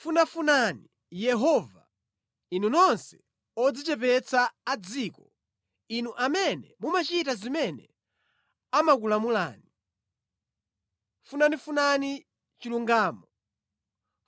Funafunani Yehova, inu nonse odzichepetsa a mʼdziko, inu amene mumachita zimene amakulamulani. Funafunani chilungamo,